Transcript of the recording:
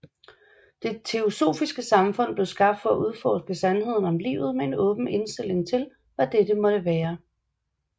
Det Teosofiske Samfund blev skabt for at udforske sandheden om livet med en åben indtilling til hvad dette måtte være